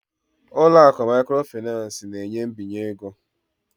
ụlọ akụ microfinance na-enye mbinye ego